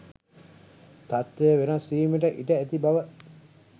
තත්වය වෙනස් වීමට ඉඩ ඇති බව